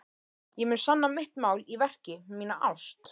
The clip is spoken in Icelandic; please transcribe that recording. Ég mun sanna mitt mál í verki, mína ást.